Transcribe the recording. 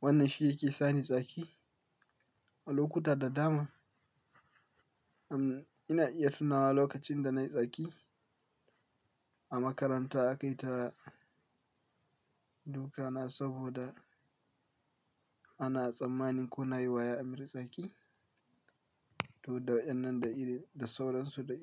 wannan shi yake sani tsaki a lokuta da dama. Am ina iya tunawa lokacin da na yi tsaki a makaranta aka yi ta duka na saboda ana tsammani ko na yi wa yaya ameer tsaki. Saboda nuna baƙin ciki, nuna fa abun da ya min fa bai dace ba, abun da ya min ya ɓata min rai, abun da ya min bai min ba.